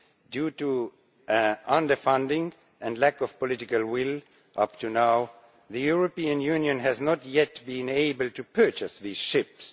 Due to underfunding and lack of political will up to now, the European Union has not yet been able to purchase these ships.